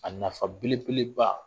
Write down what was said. A nafa belebele ba